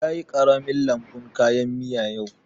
Ya yi ƙaramin lambun kayan miya yau